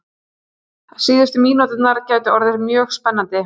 Síðustu mínúturnar gætu orðið mjög spennandi